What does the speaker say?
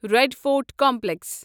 red Fort complex